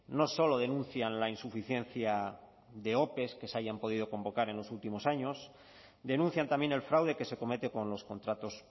no solo denuncian la insuficiencia de ope que se hayan podido convocar en los últimos años denuncian también el fraude que se comete con los contratos